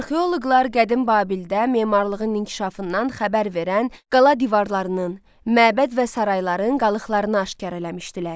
Arxeoloqlar qədim Babildə memarlığın inkişafından xəbər verən qala divarlarının, məbəd və sarayların qalıqlarını aşkar eləmişdilər.